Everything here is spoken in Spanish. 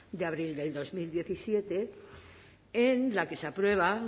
de abril de dos mil diecisiete en la que se aprueba